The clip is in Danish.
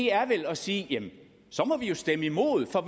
er vel at sige at så må vi jo stemme imod for